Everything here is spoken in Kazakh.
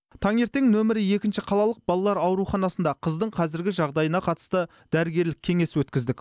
таңертең нөмірі екінші қалалық балалар ауруханасында қыздың қазіргі жағдайына қатысты дәрігерлік кеңес өткіздік